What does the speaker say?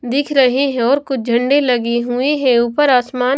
दिख रहे हैं और कुछ झंडे लगे हुए हैं ऊपर आसमान--